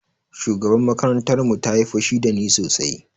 Shugabar makarantar mu ta yi fushi da ni sosai